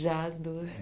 Já as duas.